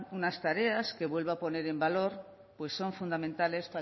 una unas tareas que vuelvo a poner en valor pues son fundamentales